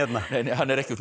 hann er ekki úr